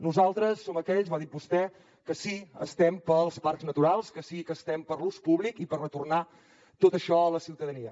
nosaltres som aquells ho ha dit vostè que sí que estem pels parcs naturals que sí que estem per l’ús públic i per retornar tot això a la ciutadania